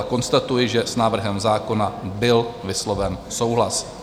A konstatuji, že s návrhem zákona byl vysloven souhlas.